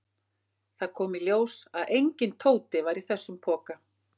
Það kom í ljós að enginn Tóti var í þessum poka.